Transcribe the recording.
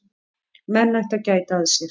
Menn ættu að gæta að sér.